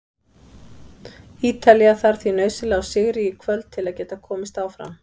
Ítalía þarf því nauðsynlega á sigri í kvöld til að geta komist áfram.